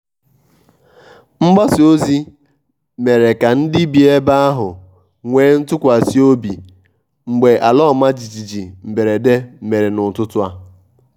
mgbasa ozi mere ka ndị bi ebe ahụ nwee ntụkwasị obi mgbe ala ọma jijiji mberede mere n'ụtụtụ a.